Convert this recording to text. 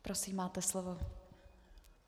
Prosím, máte slovo.